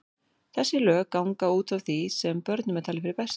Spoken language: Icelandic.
Þessi lög ganga út frá því sem börnum er talið fyrir bestu.